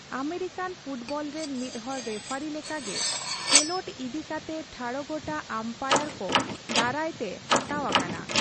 American football ᱨᱮᱱ ᱢᱤᱫ ᱦᱚᱲ ᱨᱮᱯᱷᱟᱨᱤ ᱞᱮᱠᱟ ᱜᱮ ᱠᱷᱮᱞᱳᱰ ᱤᱫᱤ ᱠᱟᱛᱮ ᱴᱷᱟᱲᱜᱚᱴᱟ ᱟᱢᱯᱟᱭᱟᱨᱠᱚ ᱫᱟᱨᱟᱭ ᱛᱮ ᱦᱟᱛᱟᱣ ᱟᱠᱟᱱᱟ ᱾